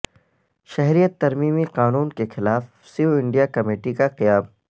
شہریت ترمیمی قانون کے خلاف سیو انڈیا کمیٹی کا قیام